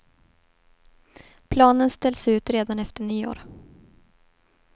Planen ställs ut redan efter nyår.